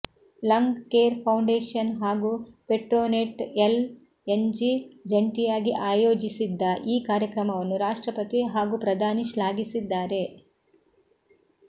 lung care foundation ಹಾಗೂ Petronet LNG ಜಂಟಿಯಾಗಿ ಆಯೋಜಿಸಿದ್ದ ಈ ಕಾರ್ಯಕ್ರಮವನ್ನು ರಾಷ್ಟ್ರಪತಿ ಹಾಗೂ ಪ್ರಧಾನಿ ಶ್ಲಾಘಿಸಿದ್ದಾರೆ